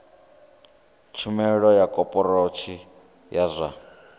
tshumelo ya khophorethivi ya zwa